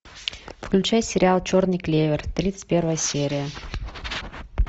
включай сериал черный клевер тридцать первая серия